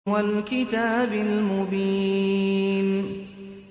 وَالْكِتَابِ الْمُبِينِ